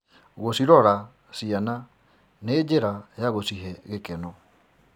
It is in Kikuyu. Gũcirora ciana nĩ njĩra ya gũcihe gĩkeno.